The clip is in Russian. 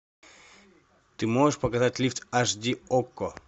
ты можешь показать лифт аш ди окко